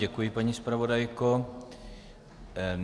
Děkuji, paní zpravodajko.